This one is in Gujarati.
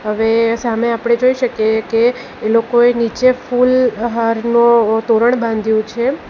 અવે સામે આપડે જોઈ શકીએ કે એ લોકોએ નીચે ફૂલહારનો તોરણ બાંધ્યું છે.